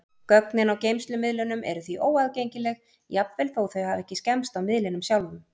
Gögnin á geymslumiðlunum eru því óaðgengileg, jafnvel þó þau hafi ekki skemmst á miðlinum sjálfum.